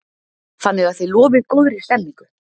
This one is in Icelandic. Þannig að þið lofið góðri stemningu?